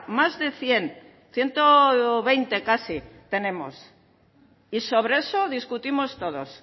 más de cien ciento veinte casi tenemos y sobre eso discutimos todos